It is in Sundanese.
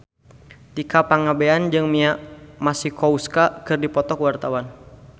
Tika Pangabean jeung Mia Masikowska keur dipoto ku wartawan